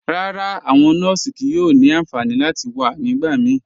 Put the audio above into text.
Rárá, awọn nọọsì kíí yóò ni ànfànì láti wà nígbàmíí.